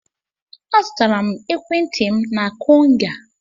Azụtara m ekwentị m na Konga.